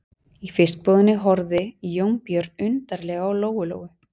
Í fiskbúðinni horfði Jónbjörn undarlega á Lóu-Lóu.